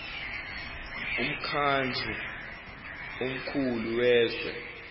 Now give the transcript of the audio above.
umkhandlu omkhulu wezwe